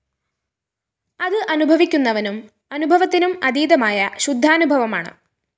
അത്‌ അനുഭവിക്കുന്നവനും അനുഭവത്തിനും അതീതമായ ശുദ്ധാനുഭവമാണ്‌